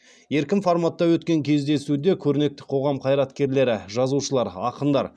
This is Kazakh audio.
еркін форматта өткен кездесуде көрнекті қоғам қайраткерлері жазушылар ақындар